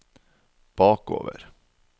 bakover